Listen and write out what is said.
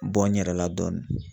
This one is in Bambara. Bɔ n yɛrɛ la dɔɔni.